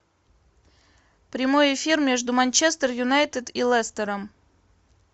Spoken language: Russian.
прямой эфир между манчестер юнайтед и лестером